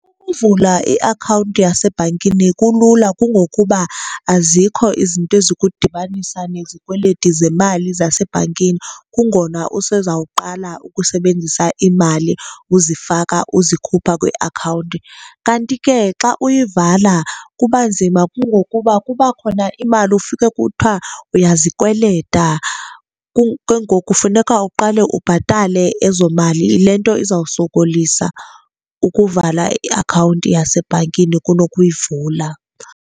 Ukuvula iakhawunti yasebhankini kulula kungokuba azikho izinto ezikudibanisa nezikweleti zemali zasebhankini, kungona usezawuqala ukusebenzisa imali uzifaka uzikhupha kwiakhawunti. Kanti ke xa uyivala kuba nzima kungokuba kuba khona imali ufike kuthiwa uyazikweleta, ke ngoku kufuneka uqale ubhatale ezo mali. Yile nto izawusokolisa ukuvala iakhawunti yesebhankini kunokuyivula.